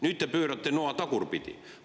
Nüüd te pöörate noa tagurpidi.